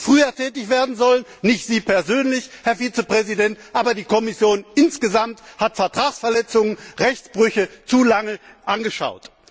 Sie hätten früher tätig werden sollen, nicht Sie persönlich, Herr Vizepräsident, aber die Kommission insgesamt hat Vertragsverletzungen und Rechtsbrüche zu lange mit angesehen.